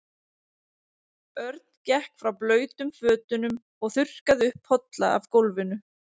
Örn gekk frá blautum fötunum og þurrkaði upp polla af gólfinu.